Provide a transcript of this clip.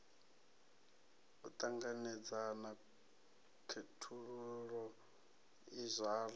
u ṱanganedzana khethululo i zwala